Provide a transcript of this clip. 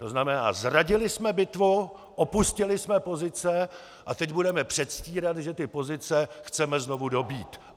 To znamená, zradili jsme bitvu, opustili jsme pozice a teď budeme předstírat, že ty pozice chceme znovu dobýt.